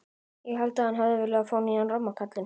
Ég held að hann hafi viljað fá nýjan ramma kallinn.